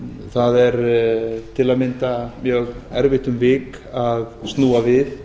það er til að mynda mjög erfitt um vik að snúa við